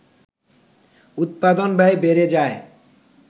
উৎপাদন ব্যয় বেড়ে যায়